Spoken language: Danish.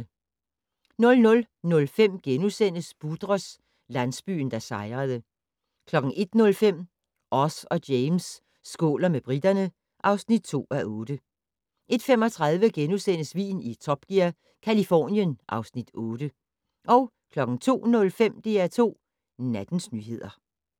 00:05: Budrus - landsbyen der sejrede * 01:05: Oz og James skåler med briterne (2:8) 01:35: Vin i Top Gear - Californien (Afs. 8)* 02:05: DR2 Nattens nyheder